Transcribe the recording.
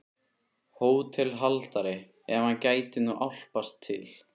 HÓTELHALDARI: Ef hann gæti nú álpast til.